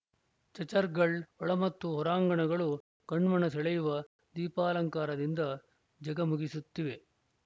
ಚಚ್‌ರ್‍ಗಳ ಒಳ ಮತ್ತು ಹೊರಾಂಗಣಗಳು ಕಣ್ಮನ ಸೆಳೆಯುವ ದೀಪಾಲಂಕಾರದಿಂದ ಝಗಮಗಿಸುತ್ತಿವೆ